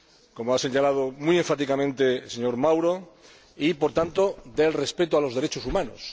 como ha señalado muy enfáticamente el señor Mauro, y, por tanto, de respeto a los derechos humanos.